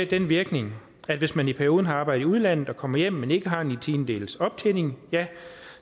den virkning at hvis man i perioden har arbejdet i udlandet og kommer hjem men ikke har ni tiendedeles optjening